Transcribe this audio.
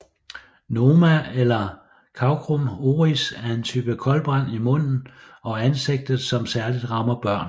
Noma eller cancrum oris er en type koldbrand i munden og ansigtet som særligt rammer børn